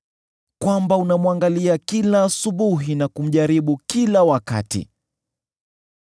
kwamba unamwangalia kila asubuhi na kumjaribu kila wakati?